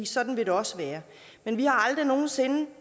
sådan vil det også være men vi har aldrig nogen sinde